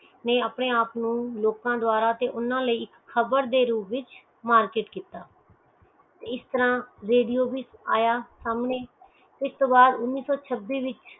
ਨੇ ਆਪਣਾ ਆਪ ਨੂੰ ਲੋਕ ਡਾਵਰਾ ਊਨਾ ਲਈ ਬਰ ਦੇ ਰੂਪ ਵਿਚ ਮਾਰਗ ਕੀਤਾ ਇਸ ਤਰਾਹ ਰੇਡੀਓ ਵੀ ਆਯਾ ਸਾਮਣੇ